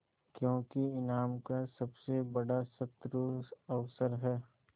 क्योंकि ईमान का सबसे बड़ा शत्रु अवसर है